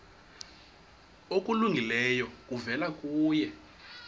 okulungileyo kuvela kuye